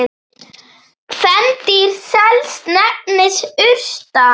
Kvendýr sels nefnist urta.